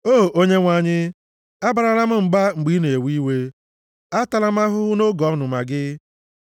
O Onyenwe anyị, abarala m mba mgbe ị na-ewe iwe. Atala m ahụhụ nʼoge ọnụma gị.